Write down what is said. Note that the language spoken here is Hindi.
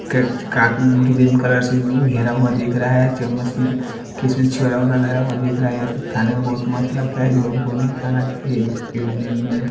ग्रीन कलर से गेरा हुआ देखरा है चमस में किसमें छुरा वुरा लेहरा हुआ दिखरा है खाने का बोहोत मस्त लगता है ये हम को नही खाना चाइए--